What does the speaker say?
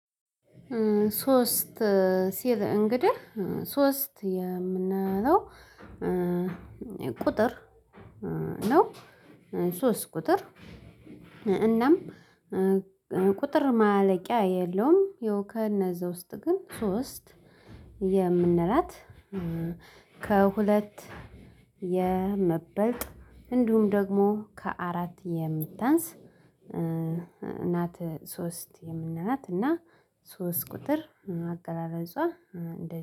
ሶስት ሲል እንግዲህ ሶስት የምንለው ቁጥር ነው። ሶስት ቁጥር እናም ቁጥር ማለቂያ የለውም። ከነዛ ውስጥ ግን ሶስት የምንላት ከሁለት የምትበልጥ እንዲሁም ደግሞ ከአራት የምታንስ ናት። ሶስት የምንላት እና ሶስት ቁጥር አቀራረፆአ